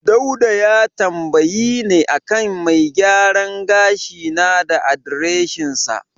Dauda ya tambayi ne a kan mai gyaran gashi na da adireshinsa.